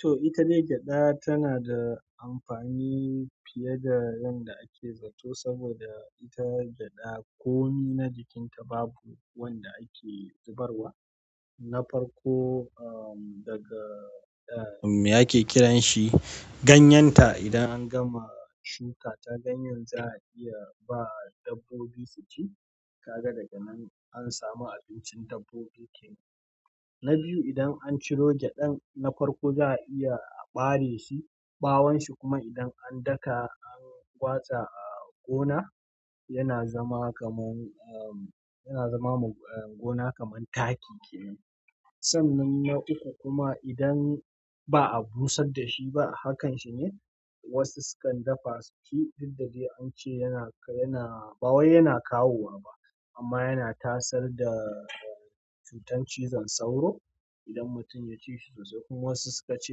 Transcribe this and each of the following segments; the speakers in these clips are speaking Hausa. To ita dai gyaɗa tana da amfani fiye da yanda ake zato saboda ita gyaɗa komi na jikinta babu wanda ake zubarwa. Na farko, um daga me ake kiran shi? Ganyenta idan an gama shuka ta, ganyen za a iya ba dabbobi su ci. Kaga daga nan an samu abincin dabbobi kenan. Na biyu, idan an ciro gyaɗan na farko za a iya a ɓare shi. Ɓawon shi kuma idan an daka an watsa a gona yana zama kaman um, yana zama ma gona kaman taki kenan. Sannan na uku kuma idan ba'a bosar dashi ba a hakan shi ne wasu sukan dafa su ci didda dai an ce yana yana ba wai yana kawo wa ba amma yana tasar da. Cutar cizon sauro idan mutum ya ci shi sosai kuma wasu suka ce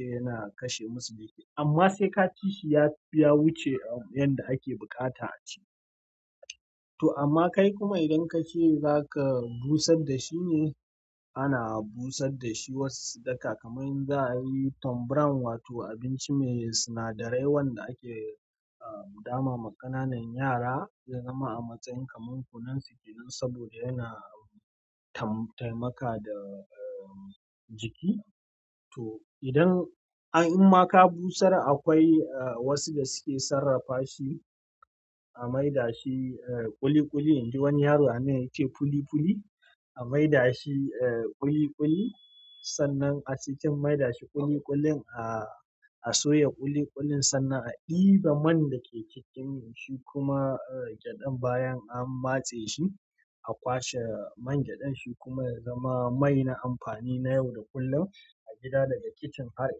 yana kashe musu jiki. Amma sai ka ci shi ya, ya wuce a yanda ake buƙata a ci. To amma kai kuma idan ka ce zaka busar da shi ne, ana busar da shi wasu su daka kaman in za a yi ton brown wato abinci mai sinadarai wanda ake a dama ma ƙananan yara ya zama a matsayin kaman kunun su kenan saboda yana taimaka da jiki. To idan imma ka busar akwai a wasu da suke sarrafa shi a maida shi a ƙuli ƙuli in ji wani yaro a nan ya ce puli puli. A maida shi a ƙuli ƙuli. Sannan a cikin maida shi ƙuli ƙulin a soya ƙuli ƙulin sannan a ɗiba man da ke cikin shi kuma gyaɗan bayan an matse shi a kwashe man gyaɗan shi kuma ya zama mai na amfani na yau da kullum a gida daga kicin har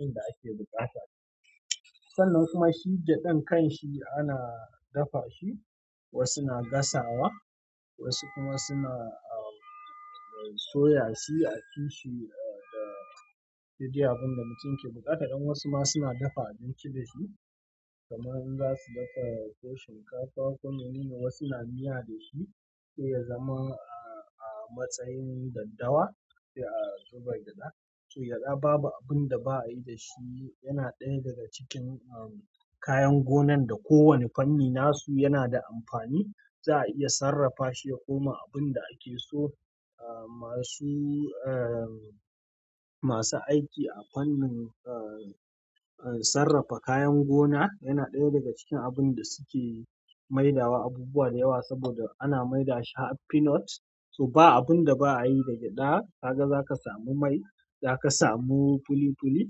inda ake buƙata. Sannan kuma shi gyaɗan kan shi ana dafa shi. Wasu na gasawa wasu kuma suna soya shi a ci shi da duk dai abunda mutum ke buƙata. Dan wasu ma suna dafa abinci da shi kamar in za su dafa tuwon shinkafa. Ko mene ne wasu na miya da shi sai ya zama a matsayin daddawa sai a zuba gyaɗa. To gyaɗa babu abin da ba a yi da shi. Yana ɗaya daga cikin kayan gonan da kowane fanni nasu yana da amfani. Za a iya sarrafa shi ya koma abun da ake so. Masu, masu aiki a fannin a sarrafa kayan gona yana ɗaya daga cikin abun da suke maidawa abubuwa da yawa saboda ana maida shi har peanut. To ba abun da ba a yi da gyaɗa. Kaga za ka samu mai, za ka samu puli puli.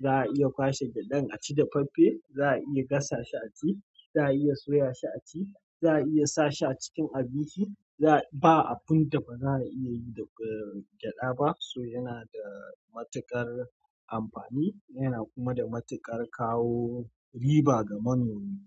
Za a iya kwashe gyaɗan a ci dafaffe. Za a iya gasa shi a ci. Za a iya soya shi a ci. Za a iya sa shi a cikin abinci za. Ba abun da ba za a iya yi da gyaɗa ba. So yana da matuƙar amfani yana kuma da matuƙar kawo riba ga manomi.